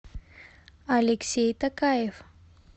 алексей токаев